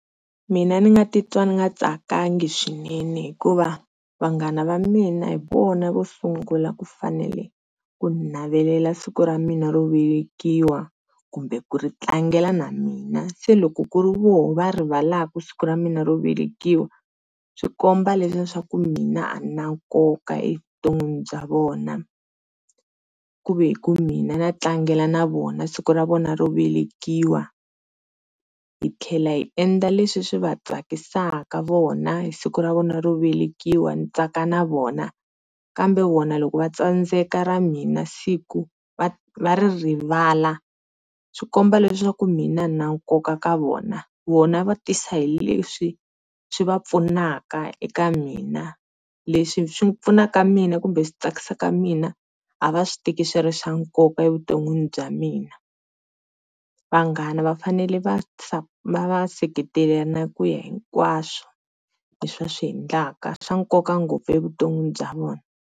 Mina ndzi nga titwa ndzi nga tsakangi swinene hikuva vanghana va mina hi vona vo sungula ku fanele ku ni navelela siku ra mina ro velekiwa kumbe ku ri tlangela na mina, se loko ku ri vona va rivalaka siku ra mina ro velekiwa, swikomba leswaku mina a ndzi na nkoka evuton'wini bya vona. Ku ve hi ku mina na tlangela na vona siku ra vona ro velekiwa hitlhela hiendla leswi swi va tsakisaka vona hi siku ra vona ro velekiwa ndzi ntsaka na vona, kambe vona loko vatsandzeka ra mina siku va ri rivala swikomba leswaku mina a ndzi na nkoka eka vona, vona va tisa hileswi swi va pfunaka eka mina leswi swi pfunaka mina kumbe swi tsakisaka mina a va swi teki swi ri swa nkoka evutonwini bya mina. Vanghana va fanele va seketelana ku ya hinkwaswo leswi va swiendlaka swa nkoka ngopfu vutomi bya vona.